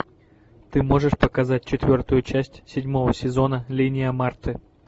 ты можешь показать четвертую часть седьмого сезона линия марты